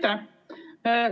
Aitäh!